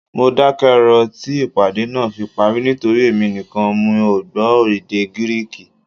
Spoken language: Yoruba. Mo dákẹ́ rọ́rọ́ tí ìpàdé náà fi parí nítorí èmi nìkan mi ò gbọ́ èdè Gíríìkì